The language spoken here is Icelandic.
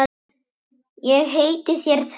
Ég heiti þér því.